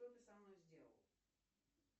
что ты со мной сделал